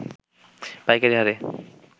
পাইকারি হারে